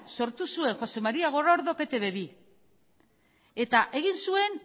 sortu zuen josé maría gorordok etb bi eta egin zuen